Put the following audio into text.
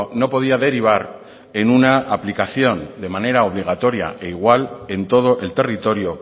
no podía derivar en una aplicación de manera obligatoria e igual en todo el territorio